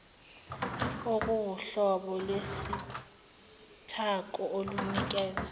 okuwuhlobo lwesithako olunikeza